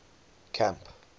camp